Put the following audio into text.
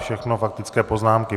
Všechno faktické poznámky.